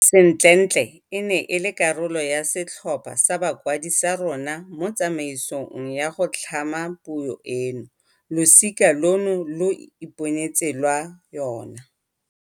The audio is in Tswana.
Sentlentle e ne e le karolo ya setlhopha sa bakwadi sa rona mo tsamaisong ya go tlhama puo eno. Losika lono lo iponetse lwa yona.